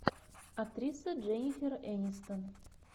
актриса дженнифер энистон